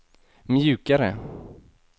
mjukare